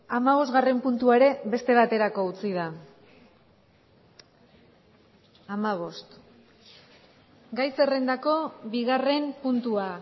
hamabosgarren puntua ere beste baterako utzi da gai zerrendako bigarren puntua